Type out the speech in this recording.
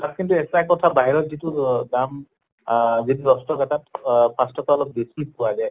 তাত কিন্তু এটা কথা বাহিৰত যিটো অহ দাম আহ যিটো দশ টকা তাত অহ পাঁছ টকা অলপ বেছি পোৱা যায়